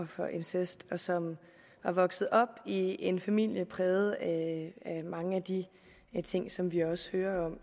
for incest og som er vokset op i en familie præget af mange af de ting som vi også hører